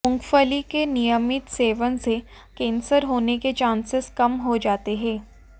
मूंगफली के नियमित सेवन से कैंसर होने के चांसेस कम हो जाते हैं